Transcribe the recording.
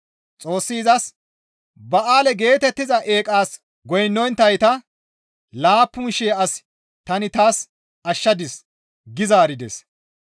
Xoossi izas, «Ba7aale geetettiza Eeqas goynnonttayta laappun shii as tani taas ashshadis» gi zaarides